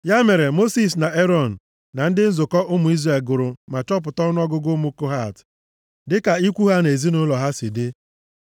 Ya mere, Mosis na Erọn na ndị ndu nzukọ ụmụ Izrel gụrụ ma chọpụta ọnụọgụgụ ụmụ Kohat, dịka ikwu ha na ezinaụlọ ha si dị.